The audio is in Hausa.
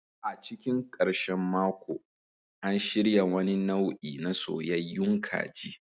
A cikin ƙarshen mako, an shirya wani nau'i na soyayyayun kaji.